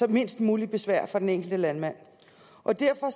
mindst muligt besvær for den enkelte landmand og derfor